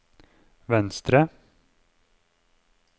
venstre